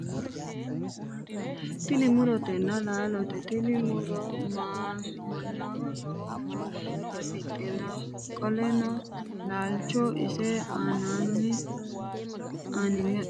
tini murotenna laalote tini muro mannaho lowo horo afidhino qolleno laalcho ise aaninni adhineemmo xa tini leeltanni nooti misilete aana bunu gumaatinna laalote yinanni.